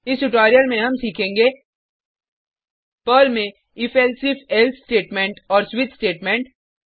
इस ट्यूटोरियल में हम सीखेंगे पर्ल में if elsif एल्से स्टेटमेंट और स्विच स्टेटमेंट